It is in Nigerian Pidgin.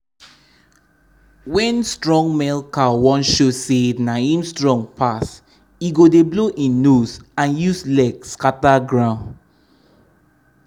wen strong male cow wan show say na him strong pass e go dey blow im nose and use leg scatter ground.